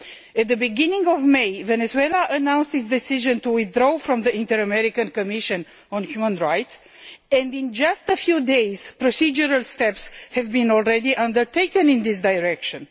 At the beginning of May Venezuela announced its decision to withdraw from the Inter American Commission on Human Rights, and in just a few days procedural steps have already been undertaken in this direction.